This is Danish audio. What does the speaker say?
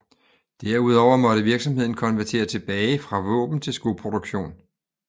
Derudover måtte virksomheden konvertere tilbage fra våben til skoproduktion